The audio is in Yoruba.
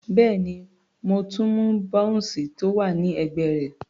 Bẹ́ẹ̀ni, mo tún mú bounce tó wà ní ẹ̀gbẹ́ rẹ̀.